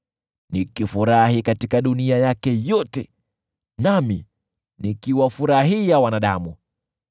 nikifurahi katika dunia yake yote nami nikiwafurahia wanadamu.